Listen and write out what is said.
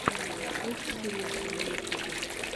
включи тиесто на ютубе